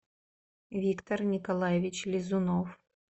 виктор николаевич лизунов